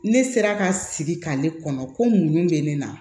Ne sera ka sigi k'ale kɔnɔ ko muɲu bɛ ne na